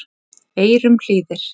eyrum hlýðir